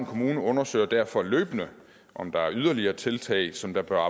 kommune undersøger derfor løbende om der er yderligere tiltag som der bør